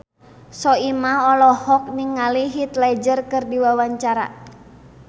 Soimah olohok ningali Heath Ledger keur diwawancara